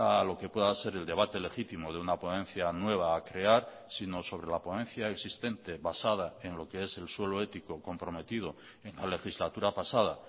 a lo que pueda ser el debate legítimo de una ponencia nueva a crear sino sobre la ponencia existente basada en lo que es el suelo ético comprometido en la legislatura pasada